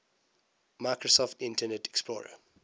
microsoft internet explorer